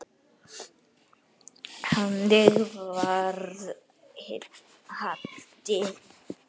Þannig var Haddi.